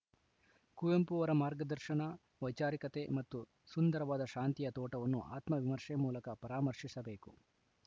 ಕುವೆಂಪು ಅವರ ಮಾರ್ಗದರ್ಶನ ವೈಚಾರಿಕತೆ ಮತ್ತು ಸುಂದರವಾದ ಶಾಂತಿಯ ತೋಟವನ್ನು ಆತ್ಮ ವಿಮರ್ಶೆ ಮೂಲಕ ಪರಾಮರ್ಶಿಸಬೇಕು